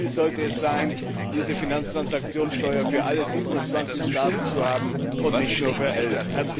Unser Ziel sollte sein, diese Finanztransaktionssteuer für alle 27 Staaten zu haben und nicht nur für elf.